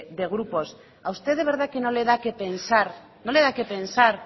de grupos a usted de verdad que no le da qué pensar no le da qué pensar